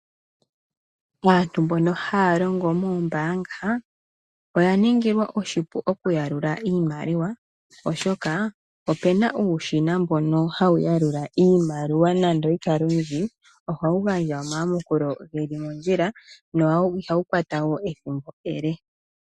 Aantu mbono haya longo moombaanga oya ningilwa oshipu okuyalula iimaliwa oshoka opena uushina mboka hawu yalula iimaliwa nande oyi kale oyindji ohawu gandja omayamukulo geli mondjila no ihawu kwata ethimbo ele.